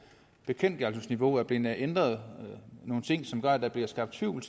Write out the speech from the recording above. bekendtgørelsesniveau er blevet ændret nogle ting som gør at der bliver skabt tvivl